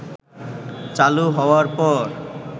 চালু হওয়ার পর